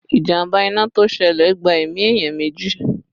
Ìjàmbá iná to ṣẹlẹ̀ gba ẹ̀mí èèyàn meji